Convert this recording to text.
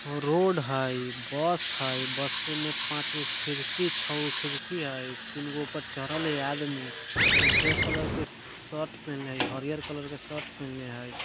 रोड है बस है बस में पाच छे खिड़किया है तिन ऊपर चरर्ल है आदमी वो कलर के शर्ट पहने है हरियर कलर के शर्ट पहने है।